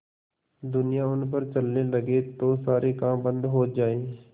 दुनिया उन पर चलने लगे तो सारे काम बन्द हो जाएँ